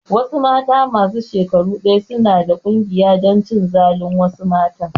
Wasu mata masu shekaru ɗaya suna da ƙungiya dan cin zalin wasu matan